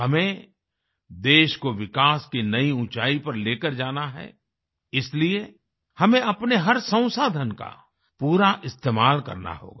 हमें देश को विकास की नयी ऊँचाई पर लेकर जाना है इसलिए हमें अपने हर संसाधन का पूरा इस्तेमाल करना होगा